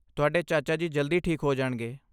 ਤੁਹਾਡੇ ਚਾਚਾ ਜੀ ਜਲਦੀ ਠੀਕ ਹੋ ਜਾਣਗੇ।